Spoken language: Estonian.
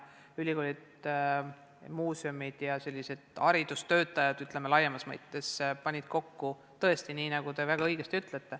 Ülikoolid, muuseumid ja haridustöötajad laiemas mõistes panid selle kokku.